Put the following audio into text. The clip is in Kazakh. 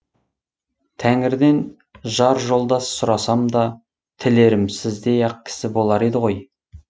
тәңірден жар жолдас сұрасам да тілерім сіздей ақ кісі болар еді ғой